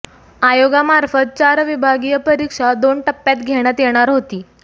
आयोगामार्फत चार विभागीय परीक्षा दोन टप्प्यात घेण्यात येणार होती